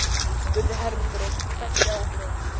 spurði Hermundur og hvessti á okkur augun.